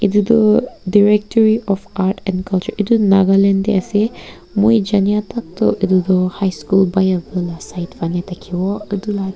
etu directory of Art and Culture etu nagaland dae ase moi janya tak tuh etu tuh high school bayavu la side phane thakivo etula ja